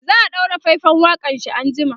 za'a ɗaura faifan waƙanshi an jima